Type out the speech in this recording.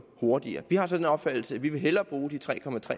hurtigere vi har så den opfattelse at vi hellere vil bruge de tre